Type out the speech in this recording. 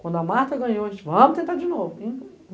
Quando a Marta ganhou, a gente falou, vamos tentar de novo.